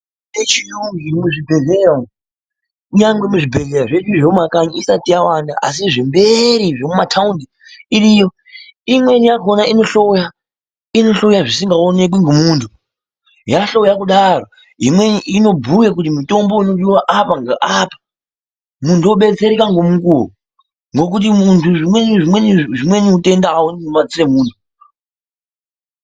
Michhini yaamwo muzvibhedhlera umwo, kunyange muzvibhedhlera zvedu zvemumakanyi isati yawanda asi zvembeeri zvemumathaundi iriyo, imweni yakhona inohloya zvisingaonekwi ngemunthu. Yahlowa kudaro, imweni inobhuya kuti mutombo unodiwa apa, ngeapa, munthu odetsereka ngemukuwo. Ngekuti munthu, zvimweni utenda auoneki ngemadziso emunthu.